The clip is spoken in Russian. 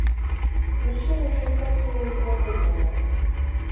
включи развлекательно игровой канал